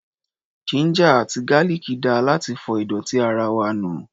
Ginger àti garlic dáa láti fọ ìdọ̀tí ara wa nù.